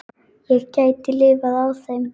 Ég gæti lifað á þeim.